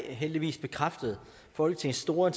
heldigvis bekræftet folketingets store